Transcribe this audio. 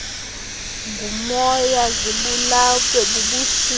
ngumoya zibulawe bubushushu